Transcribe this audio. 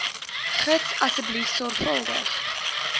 gids asseblief sorgvuldig